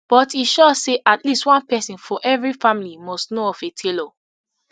but e sure say at least one pesin for evri family must know of a tailor